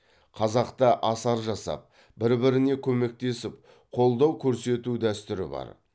қазақта асар жасап бір біріне көмектесіп қолдау көрсету дәстүрі бар